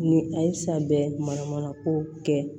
Ni a ye san bɛɛ manamana ko kɛ